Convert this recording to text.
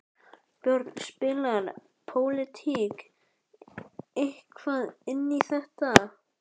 Björn: Spilar pólitík eitthvað inn í þetta?